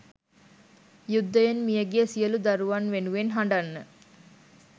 යුද්ධයෙන් මියගිය සියළු දරුවන් වෙනුවෙන් හඬන්න.